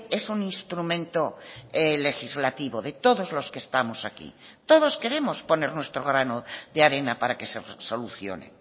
es un instrumento legislativo de todos los que estamos aquí todos queremos poner nuestro grano de arena para que se solucione